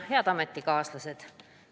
Head ametikaaslased!